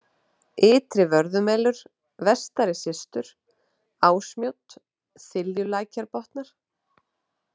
Ytri-Vörðumelur, Vestari-Systur, Ásmjódd, Þiljulækjarbotnar